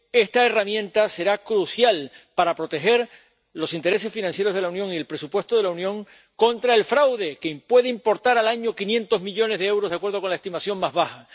esta herramienta será crucial para proteger los intereses financieros de la Unión y el presupuesto de la Unión contra el fraude, que puede ascender a 500 millones de euros al año de acuerdo con la estimación más baja.